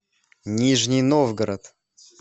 нижний новгород